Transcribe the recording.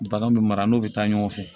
Bagan bɛ mara n'o bɛ taa ɲɔgɔn fɛ